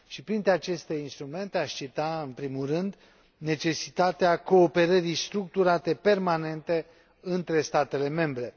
Printre aceste instrumente, aș cita, în primul rând, necesitatea cooperării structurate permanente între statele membre.